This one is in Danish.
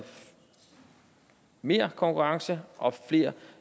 mere konkurrence og at flere